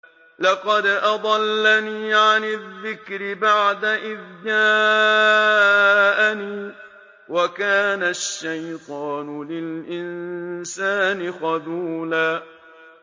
لَّقَدْ أَضَلَّنِي عَنِ الذِّكْرِ بَعْدَ إِذْ جَاءَنِي ۗ وَكَانَ الشَّيْطَانُ لِلْإِنسَانِ خَذُولًا